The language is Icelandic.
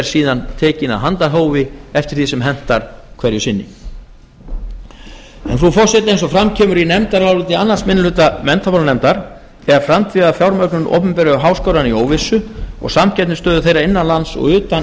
síðan tekinn af handahófi eftir því sem hentar hverju sinni frú forseti eins og fram kemur í áliti annar minni hluta menntamálanefndar er framtíðarfjármögnun opinberu háskólanna í óvissu og samkeppnisstöðu þeirra innan lands og utan